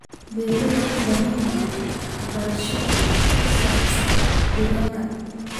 Beeralayda waxay u baahan yihiin waxbarasho ku saabsan deegaanka.